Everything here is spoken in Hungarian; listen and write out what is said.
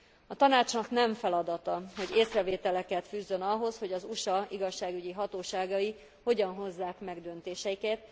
A Tanácsnak nem feladata, hogy észrevételeket fűzzön ahhoz, hogy az USA igazságügyi hatóságai hogyan hozzák meg döntéseiket.